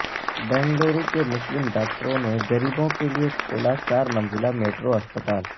بنگلورو کے مسلم ڈاکٹروں نے غریبوں کے لئے کھولا چارمنزلہ میٹرو اسپتال